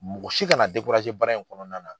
Mɔgɔ si kana baara in kɔnɔna na.